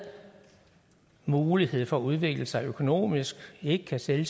mulighed for at udvikle sig økonomisk ikke kan sælge